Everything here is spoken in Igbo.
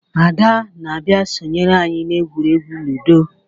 Ada na-abia sonyere anyi na egwuregwu Ludo